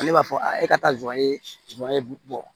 Ale b'a fɔ e ka taa zonya zon ye bɔ